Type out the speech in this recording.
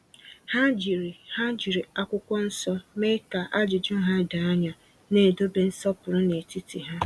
Ha jiri Ha jiri akwụkwọ nsọ mee ka ajụjụ ha doo anya, na-edobe nsọpụrụ n’etiti ha.